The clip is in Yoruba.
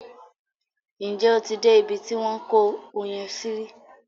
Ǹjẹ́ o ti dé ibi tí wọ́n ń kó oyin sí rí?